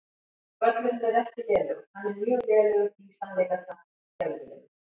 Völlurinn er ekki lélegur, hann er mjög lélegur eða í sannleika sagt skelfilegur.